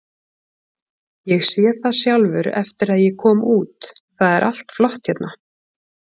Ég sé það sjálfur eftir að ég kom út, það er allt flott hérna.